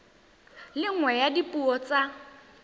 le nngwe ya dipuo tsa